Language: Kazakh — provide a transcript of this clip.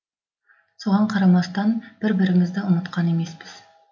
соған қарамастан бір бірімізді ұмытқан емеспіз